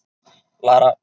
Lara